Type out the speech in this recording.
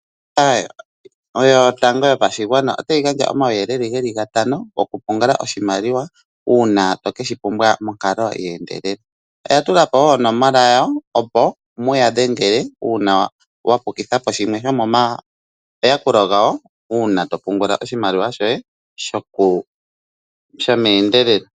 Ombaanga yotango yopashigwana otayi gandja omauyelele ge li gatano gokupungula oshimaliwa uuna to ke shi pumbwa ye endelela. Oya tula po wo onomala yawo, opo mu ya dhengele uuna mwa pukitha po shimwe shomomayakulo gawo uuna to pungula oshimaliwa shoye shomeendelelo.